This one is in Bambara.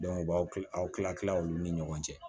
u b'aw ki aw kila kila olu ni ɲɔgɔn cɛ